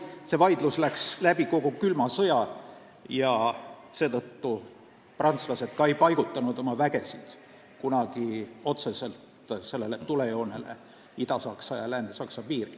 See vaidlus kestis kogu külma sõja ajal ja seetõttu prantslased ei paigutanud oma vägesid kunagi otseselt tulejoonele Ida-Saksa ja Lääne-Saksa piiril.